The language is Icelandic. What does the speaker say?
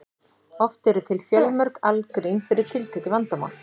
oft eru til fjölmörg algrím fyrir tiltekið vandamál